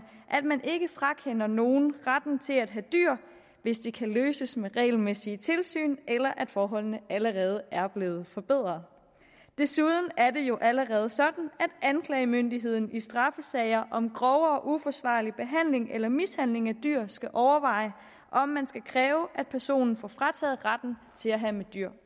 at man ikke frakender nogle retten til at have dyr hvis det kan løses med regelmæssige tilsyn eller forholdene allerede er blevet forbedret desuden er det jo allerede sådan at anklagemyndigheden i straffesager om grov og uforsvarlig behandling eller mishandling af dyr skal overveje om man skal kræve at personen får frataget retten til at have med dyr